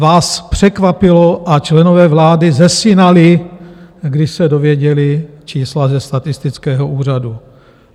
Vás překvapilo a členové vlády zesinali, když se dověděli čísla ze statistického úřadu.